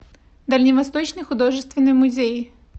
дальневосточный художественный музей